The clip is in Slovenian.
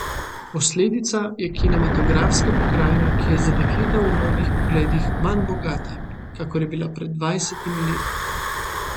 Posledica je kinematografska pokrajina, ki je za dekleta v mnogih pogledih manj bogata, kakor je bila pred dvajsetimi leti.